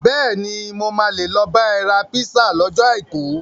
Bẹ́ẹ̀ni, mo máa lè lọ bá ẹ ra písà lọ́jọ́ Àìkú.